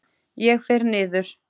Ég fer niður.